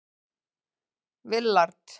Willard